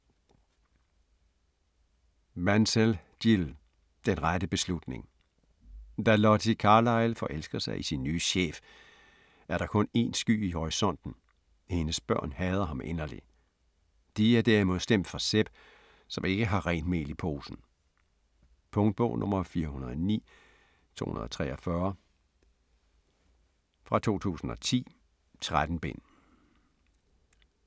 Mansell, Jill: Den rette beslutning Da Lottie Carlyle forelsker sig i sin nye chef, er der kun én sky i horisonten: hendes børn hader ham inderligt. De er derimod stemt for Seb, som ikke har helt rent mel i posen. Punktbog 409243 2010. 13 bind.